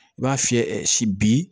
I b'a fiyɛ ɛ si bi